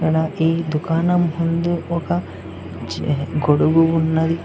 అలాగే ఈ దుకాణం ముందు ఒక చే గొడుగు ఉన్నది.